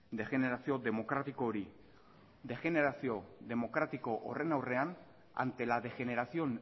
degenerazio demokratiko hori ante la degeneración